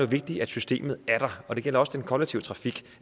vigtigt at systemet er der og det gælder også den kollektive trafik